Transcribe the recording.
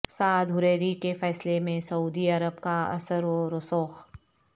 سعد Hariri کے فیصلے میں سعودی عرب کا اثرو رسوخ